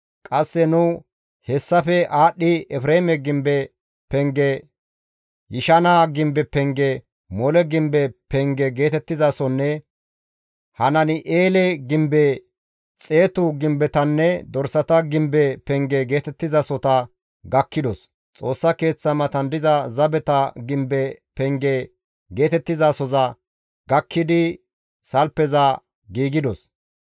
Qasse nu hessafe aadhdhi Efreeme gimbe penge, Yishana gimbe penge, Mole gimbe penge geetettizasonne Hanani7eele gimbe, xeetu gimbetanne dorsata gimbe penge geetettizasota gakkidos; Xoossa Keeththa matan diza zabeta gimbe penge geetettizasoza gakkidi salfeza giigidos.